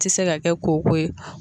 ti se ka kɛ koko ye